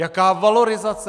Jaká valorizace?